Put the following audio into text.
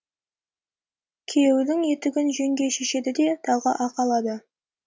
күйеудің етігін жеңге шешеді де тағы ақы алады